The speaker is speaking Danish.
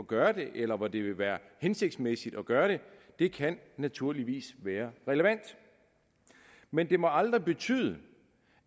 gøre det eller hvor det vil være hensigtsmæssigt at gøre det det kan naturligvis være relevant men det må aldrig betyde